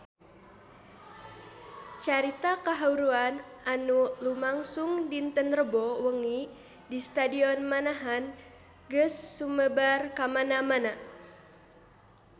Carita kahuruan anu lumangsung dinten Rebo wengi di Stadion Manahan geus sumebar kamana-mana